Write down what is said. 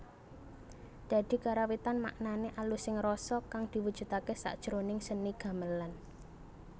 Dadi karawitan maknané alusing rasa kang diwujudaké sakjroning seni gamelan